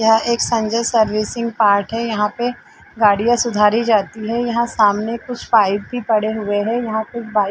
यहाँ एक Sanjay servicing part है यहाँ पे गाड़ियाँ सुधारी जाती है यहाँ सामने कुछ पाइप भी पड़े हुए है यहाँ पे बाइक --